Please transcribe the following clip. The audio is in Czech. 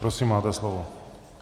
Prosím, máte slovo.